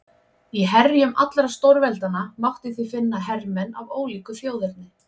Í herjum allra stórveldanna mátti því finna hermenn af ólíku þjóðerni.